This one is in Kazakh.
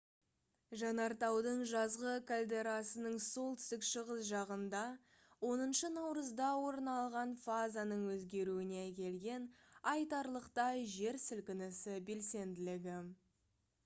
жанартаудың жазғы кальдерасының солтүстік шығыс жағында 10 наурызда орын алған фазаның өзгеруіне әкелген айтарлықтай жер сілкінісі белсенділігі